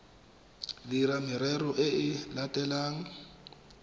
dira merero e e latelang